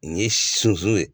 Nin ye sunsun ye